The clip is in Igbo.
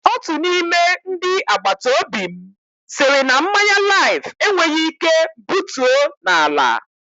Otu n'ime ndị agbataobi m sịrị na mmanya Laif enweghị ike butuo n'ala.